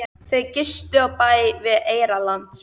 Þau gistu á bæ við Eyrarland.